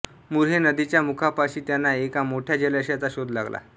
मुर्हे नदीच्या मुखापाशी त्यांना एका मोठ्या जलाशयाचा शोध लागला